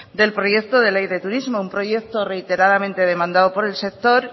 del proyecto de ley de turismo un proyecto reiteradamente demandado por el sector